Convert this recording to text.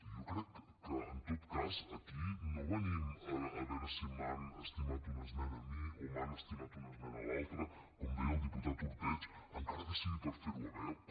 jo crec que en tot cas aquí no venim a veure si m’han estimat una esmena a mi o li han estimat una esmena a l’altre com deia el diputat ordeig encara que sigui per fer ho veure